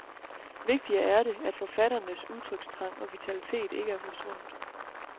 Vigtigere er det, at forfatternes udtrykstrang og vitalitet ikke er forsvundet.